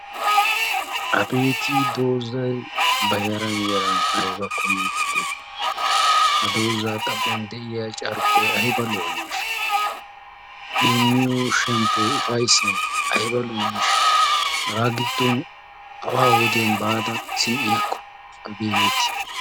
Abeeti doozay ba yaran yaran ayiba kumi uttidee? Ha doozaa xaphon de'iya carkkoy ayiba lo'aneeshsha? I imiyo shemppoy ufayisay ayiba lo'aneeshsha? Hagaa giddon awaa wodiyan baada zi'iyaakko abeeti.